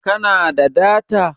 Ka na da data?